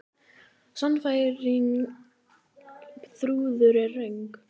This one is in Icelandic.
Sannfæring Þrúðar er röng.